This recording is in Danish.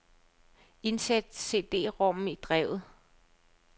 Indsæt cd-rommen i drevet.